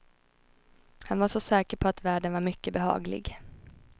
Han var så säker på att världen var mycket behaglig.